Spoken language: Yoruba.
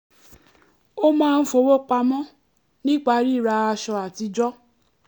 ó máa ń fowó pamọ́ nípa ríra aṣọ àtijọ́